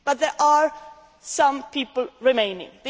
Egypt. But there are some people remaining.